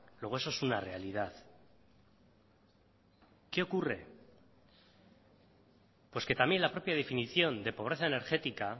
luego eso es una realidad qué ocurre pues que también la propia definición de pobreza energética